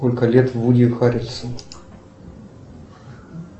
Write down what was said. сколько лет вуди харрельсону